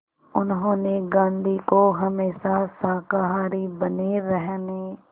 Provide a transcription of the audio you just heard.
उन्होंने गांधी को हमेशा शाकाहारी बने रहने